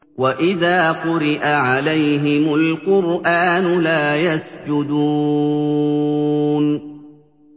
وَإِذَا قُرِئَ عَلَيْهِمُ الْقُرْآنُ لَا يَسْجُدُونَ ۩